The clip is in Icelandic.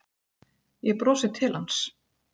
Ég brosi til hans.